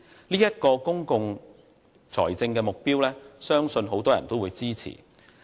這一個公共財政目標很多人都會支持。